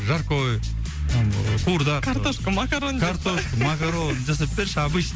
жаркое там қуырдақ картошка макароны картошка макароны жасап берші